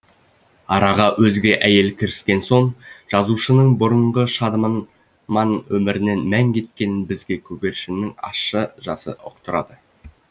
араға өзге әйел кіріскен соң жазушының бұрынғы өмірінен мән кеткенін бізге көгершіннің ащы жасы ұқтырады